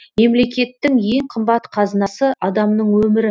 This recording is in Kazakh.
мемлекеттің ең қымбат қазынасы адамның өмірі